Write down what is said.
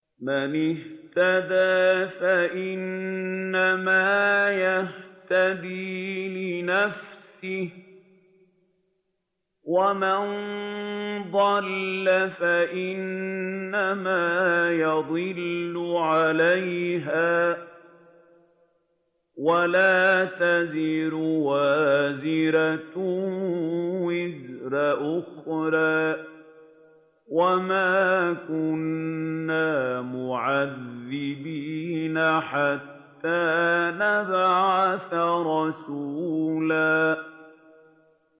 مَّنِ اهْتَدَىٰ فَإِنَّمَا يَهْتَدِي لِنَفْسِهِ ۖ وَمَن ضَلَّ فَإِنَّمَا يَضِلُّ عَلَيْهَا ۚ وَلَا تَزِرُ وَازِرَةٌ وِزْرَ أُخْرَىٰ ۗ وَمَا كُنَّا مُعَذِّبِينَ حَتَّىٰ نَبْعَثَ رَسُولًا